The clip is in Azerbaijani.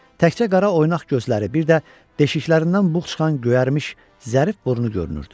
Təkcə qara oynaş gözləri, bir də deşiklərindən buğ çıxan göyərmiş, zərif burnu görünürdü.